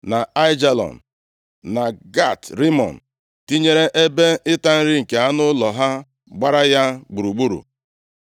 na Aijalon, na, Gat Rimọn, tinyere ebe ịta nri nke anụ ụlọ gbara ya gburugburu.